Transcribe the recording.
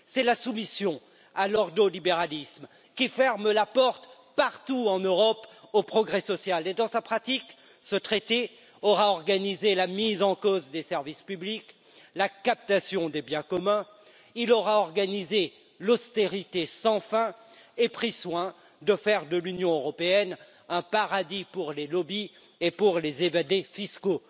c'est la soumission à l'ordolibéralisme qui ferme la porte, partout en Europe, au progrès social. Et dans sa pratique ce traité aura organisé la mise en cause des services publics, la captation des biens communs, il aura organisé l'austérité sans fin et pris soin de faire de l'Union européenne, un paradis pour les lobbies et pour les évadés fiscaux.